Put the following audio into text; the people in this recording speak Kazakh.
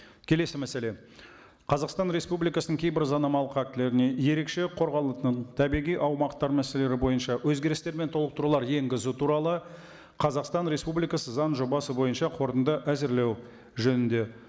келесі мәселе қазақстан республикасының кейбір заңнамалық актілеріне ерекше қорғалатын табиғи аумақтар мәселелері бойынша өзгерістер мен толықтырулар енгізу туралы қазақстан республикасы заң жобасы бойынша қорытынды әзірлеу жөнінде